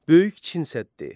Böyük Çin səddi.